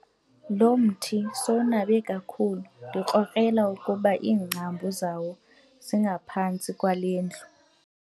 Lo mthi sowunabe kakhulu ndikrokrela ukuba iingcambu zawo zingaphantsi kwale ndlu.